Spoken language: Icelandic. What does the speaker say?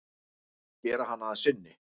Gera hana að sinni.